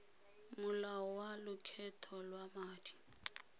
molao wa lokgetho lwa madi